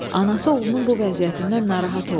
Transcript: Anası oğlunun bu vəziyyətindən narahat oldu.